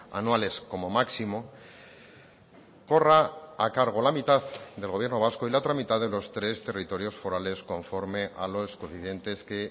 anuales como máximo corra a cargo la mitad del gobierno vasco y la otra mitad de los tres territorios forales conforme a los coeficientes que